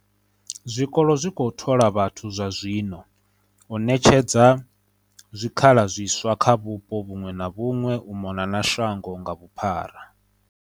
Zwikolo zwi khou thola vhathu zwa zwino, u ṋetshe dza zwikhala zwiswa kha vhupo vhuṅwe na vhuṅwe u mona na shango nga vhu phara.